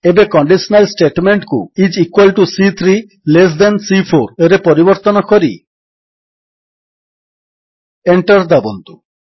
ଏବେ ଏହି କଣ୍ଡିଶନାଲ୍ ଷ୍ଟେଟମେଣ୍ଟକୁ ଆଇଏସ ଇକ୍ୱାଲ୍ ଟିଓ ସି3 ଲେସ୍ ଥାନ୍ C4ରେ ପରିବର୍ତ୍ତନ କରି Enter ଦାବନ୍ତୁ